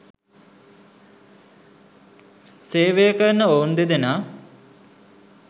සේවය කරන ඔවුන් දෙදෙනා